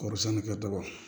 Kɔɔri sɛni ka dɔgɔ